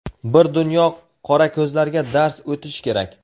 Bir dunyo qorako‘zlarga dars o‘tish kerak.